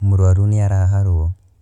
Mũrũaru nĩ araharwo.